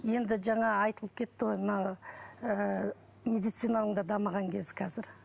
енді жана айтылып кетті ғой мына ыыы медицинаның да дамыған кезі қазір